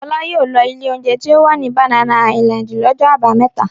Fọlá yóò lọ ilé-oúnjẹ tí ó wà ní Banana Island lọ́jọ́ àbámẹ́ta.